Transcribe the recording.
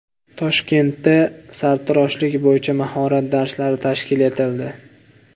Toshkentda sartaroshlik bo‘yicha mahorat darslari tashkil etildi .